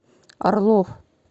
орлов